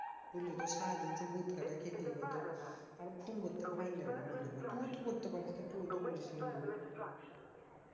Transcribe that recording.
বুঝলি তো সারাদিন সেই ভূত কাটা খেতে এবার ধর আর ফোন করতে ভালো লাগেনা মনে হয় না তুইও তো করতে পারিস তা তুইও তো করিস নি বল